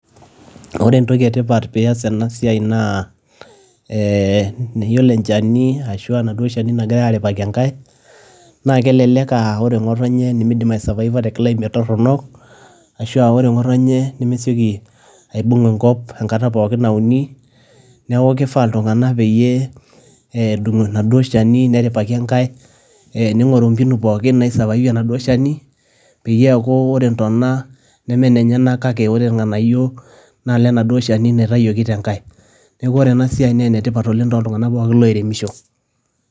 Ore entoki etipat pias enasiai naa, niyiolo enchani ashu enaduo shani nagirai aripaki enkae, na kelelek ah ore ng'otonye nimidim aisavaiva te climate torrono, ashua ore ng'otonye nemeseki aibung' enkop enkata pookin nauni, neeku kifaa iltung'anak peyie edung' enaduo shani, neripaki enkae, ning'oru mpinu pookin naisavaive enaduo shani, peyie eeku ore ntona nemenenyanak kake ore irng'anayio, na lenaduo shani naitayioki tenkae. Neeku ore enasiai ne enetipat oleng toltung'anak pookin loiremisho.